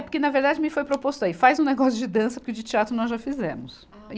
É, porque, na verdade, me foi proposto aí, faz um negócio de dança, porque de teatro nós já fizemos.